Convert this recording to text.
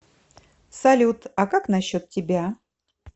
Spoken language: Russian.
салют а как насчет тебя